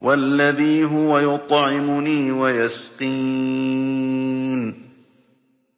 وَالَّذِي هُوَ يُطْعِمُنِي وَيَسْقِينِ